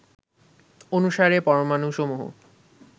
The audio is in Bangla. অনুসারে পরমাণুসমূহ